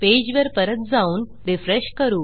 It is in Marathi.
पेजवर परत जाऊन रिफ्रेश करू